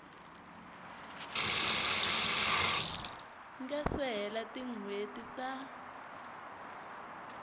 nga se hela tinhweti ta